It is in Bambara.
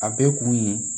A bɛɛ kun ye